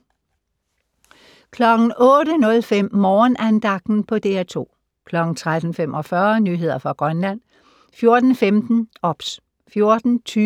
08:05: Morgenandagten på DR2 13:45: Nyheder fra Grønland 14:15: OBS 14:20: